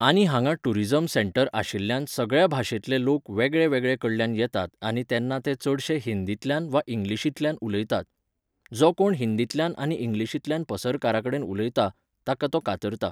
आनी हांगा tourism centre आशिल्ल्यान सगळ्या भाशेंतले लोक वेगळे वेगळे कडल्यान येतात आनी तेन्ना ते चडशे हिंदीतल्यान वा इंग्लिशींतल्यान उलयतात. जो कोण हिंदीतल्यान आनी इंग्लिशींतल्यान पसरकाराकडेन उलयता, ताका तो कातरता